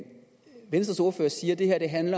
det er en